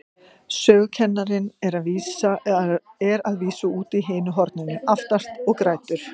Sögukennarinn er að vísu úti í hinu horninu, aftast, og grætur.